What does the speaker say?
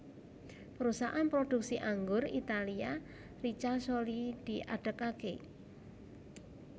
Perusahaan produksi anggur Italia Ricasoli diadegaké